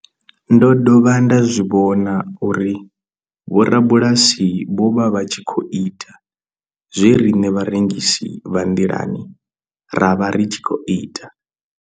Ndo dovha nda zwi vhona uri vhorabulasi vho vha vha tshi khou ita zwe riṋe vharengisi vha nḓilani ra vha ri tshi khou ita.